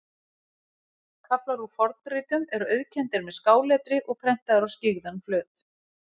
Kaflar úr fornritum eru auðkenndir með skáletri og prentaðir á skyggðan flöt.